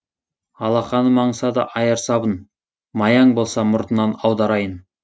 алақаным аңсады айыр сабын маяң болса мұртынан аударайын